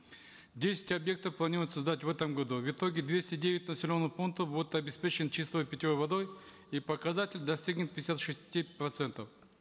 десять объектов планируется сдать в этом году в итоге двести девять населенных пунктов будут обеспечены чистой питьевой водой и показатель достигнет пятидесяти шести процентов